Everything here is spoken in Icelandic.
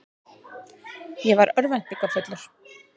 Ég var örvæntingarfullur.